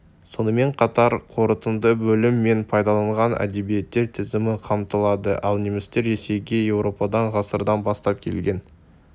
сонымен қатар қорытынды бөлім мен пайдаланылған әдебиеттер тізімі қамтылады ал немістер ресейге еуропадан ғасырдан бастап келген